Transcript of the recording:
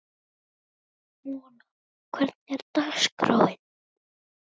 Mona, hvernig er dagskráin?